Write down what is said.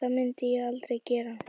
Það myndi ég aldrei gera